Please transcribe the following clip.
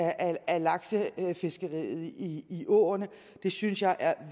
af laksefiskeriet i i åerne synes jeg er